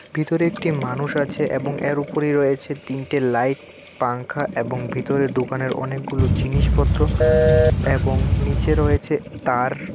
ভিতরে একটি মানুষ আছে এবং এর উপরেই রয়েছে তিনটে লাইট পাংখা এবং ভিতরে দোকানের অনেকগুলো জিনিসপত্র এবং নিচে রয়েছে তার।